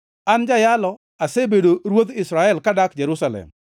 An, jayalo, asebedo ruodh Israel kadak Jerusalem.